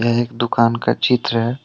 यह एक दुकान का चित्र है।